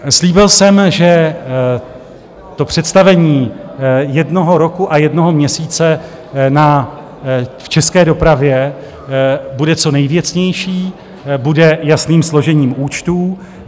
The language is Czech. Slíbil jsem, že to představení jednoho roku a jednoho měsíce v české dopravě bude co nejvěcnější, bude jasným složením účtů.